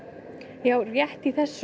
já rétt í þessu